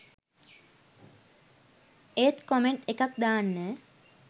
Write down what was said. ඒත් කොමෙන්ට් එකක් දාන්න